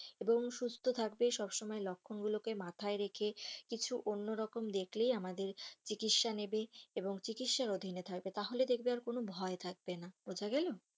এবং সুস্থ থাকবে এবং সব সময় লক্ষণ গুলোকে মাথায় রেখে কিছু অন্য রকম দেখলেই আমাদের চিকিৎসা নেবে এবং চিকিৎসার অধীনে থাকবে তাহলে দেখবে আর কোনো ভয় থাকবে না বোঝা গেলো?